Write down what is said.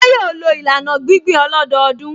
Ṣé yóò lo ìlànà gbíngbìn ọlọ́dọọdún?